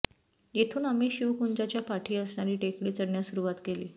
येथून आम्ही शिवकुंजाच्या पाठी असणारी टेकडी चढण्यास सुरुवात केली